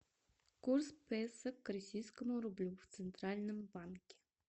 курс песо к российскому рублю в центральном банке